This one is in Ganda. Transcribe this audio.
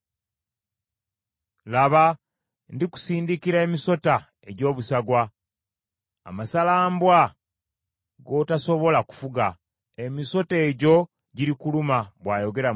“Laba, ndikusindikira emisota egy’obusagwa, amasalambwa g’otasobola kufuga, emisota egyo girikuluma,” bwayogera Mukama .